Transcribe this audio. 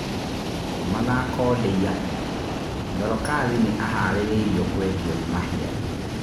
(Mathako Ndeiya) Dorokathi nĩ aharĩ irio kwendio nĩ Mahia.